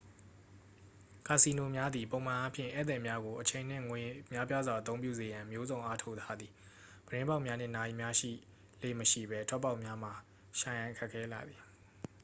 ကာစီနိုများသည်ပုံမှန်အားဖြင့် ဧည့်သည်များကို အချိန်နှင့်ငွေ များပြားစွာအသုံးပြုစေရန် မျိုးစုံအားထုတ်ထားသည် ပြတင်းပေါက်များနှင့် နာရီများရှိလေ့မရှိပဲ ထွက်ပေါက်များမှာ ရှာရန် ခက်ခဲလှသည်